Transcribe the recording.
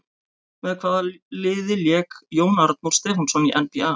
Með hvaða liði lék Jón Arnór Stefánsson í NBA?